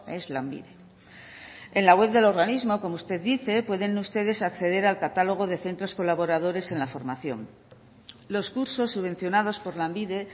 es lanbide en la web del organismo como usted dice pueden ustedes acceder al catálogo de centros colaboradores en la formación los cursos subvencionados por lanbide